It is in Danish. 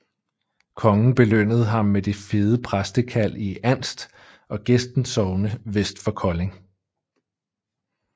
Kongen belønnede ham med det fede præstekald i Andst og Gesten sogne vest for Kolding